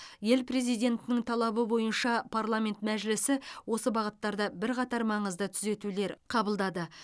ел президентінің талабы бойынша парламент мәжілісі осы бағыттарда бірқатар маңызды түзетулер қабылдады